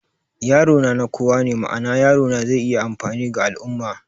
Yaro na, na kowa ne, ma'ana, yarona zai iya amfani ga al'ummah